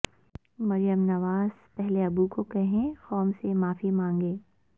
مریم نواز پہلے ابو کو کہیں قوم سے معافی مانگے